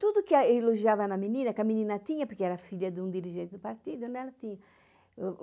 Tudo que é ele elogiava na menina, que a menina tinha, porque era filha de um dirigente do partido, né, ela tinha.